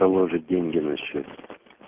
положить деньги на счёт